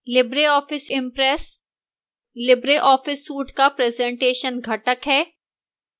libreoffice impress libreoffice suite का presentation घटक है